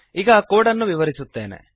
ಈಗ ಕೋಡ್ ಅನ್ನು ವಿವರಿಸುತ್ತೇನೆ